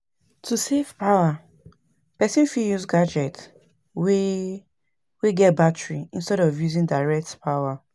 To save power, person fit use gadget wey wey get battery instead of using direct power